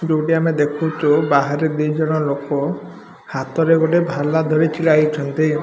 ଯୋଉଟି ଆମେ ଦେଖୁଚୁ ବାହାରେ ଦିଇ ଜନ ଲୋକ ହାତରେ ଗୋଟେ ଭାଲା ଧରି ଛିଡା ହେଇଛନ୍ତି।